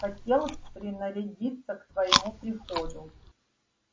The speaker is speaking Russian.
хотел принарядиться к твоему приходу